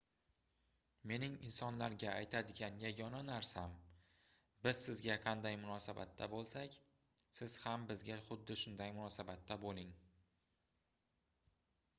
mening insonlarga aytadigan yagona narsam biz sizga qanday munosabatda boʻlsak siz ham bizga xuddi shunday munosabatda boʻling